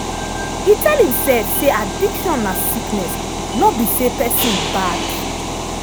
e tell himself say addiction na sickness no be say person bad